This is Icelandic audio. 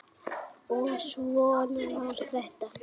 Og svona var þetta.